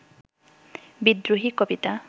বিদ্রোহী কবিতা